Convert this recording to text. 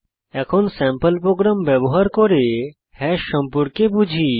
এখন sample program ব্যবহার করে হ্যাশ সম্পর্কে বুঝি